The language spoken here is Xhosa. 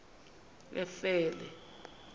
efele